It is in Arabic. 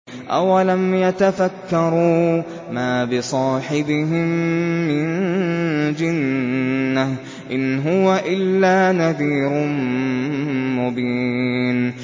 أَوَلَمْ يَتَفَكَّرُوا ۗ مَا بِصَاحِبِهِم مِّن جِنَّةٍ ۚ إِنْ هُوَ إِلَّا نَذِيرٌ مُّبِينٌ